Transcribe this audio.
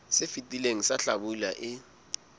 se fetileng sa hlabula e